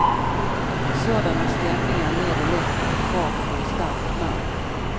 Sådana stämningar leder lätt till krav på en stark man.